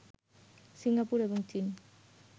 Singapore এবং চীন